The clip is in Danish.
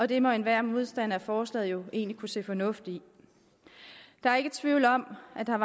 det må enhver modstander af forslaget jo egentlig kunne se fornuft i der er ikke tvivl om at der